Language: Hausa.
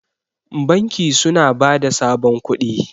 banki suna ba da sabon kudi